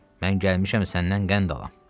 Mən gəlmişəm səndən qənd alam.